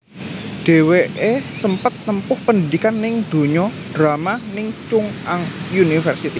Dhèwèké sempet nempuh pandidikan ning donya drama ning Chung Ang University